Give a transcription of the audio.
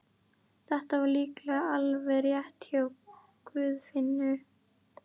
Þetta var líklega alveg rétt hjá Guðfinnu.